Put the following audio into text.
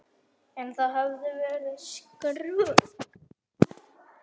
En það hefði verið skrök.